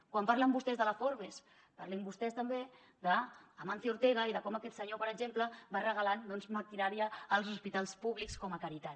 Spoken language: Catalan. quan parlen vostès de la forbes parlin vostès també d’amancio ortega i de com aquest senyor per exemple va regalant doncs maquinària als hospitals públics com a caritat